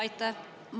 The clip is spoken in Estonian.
Aitäh!